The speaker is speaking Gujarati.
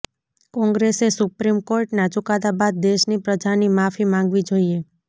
કોંગ્રેસે સુપ્રીમ કોર્ટના ચુકાદા બાદ દેશની પ્રજાની માફી માગવી જોઈએ